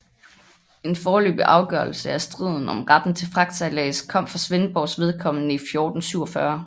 En forløbig afgørelse af striden om retten til fragtsejlads kom for Svendborgs vedkommende i 1447